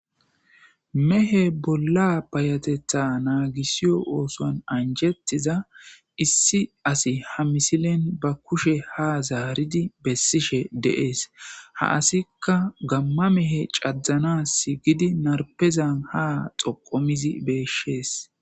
Mehe bolla payateththa ngisiyo oosuwan anjjettiza issi asi ha misilen bkushe ha zaaridi besishe dees ha asikka gamma mehe cadanas shiiqqidi narpeza ha xoqu histidi besses